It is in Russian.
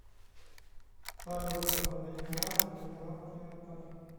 салют посмотреть канал телеканал театр